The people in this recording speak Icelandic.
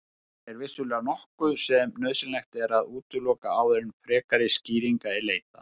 Þetta er vissulega nokkuð sem nauðsynlegt er að útiloka áður en frekari skýringa er leitað.